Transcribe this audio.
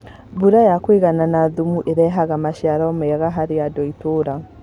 Mbũra ya kũigana na thumu nĩirehaga maciaro mega kũrĩandũ a itura